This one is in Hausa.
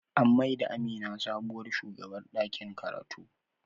An mai da Amina sabuwar shugabar ɗakin karatu.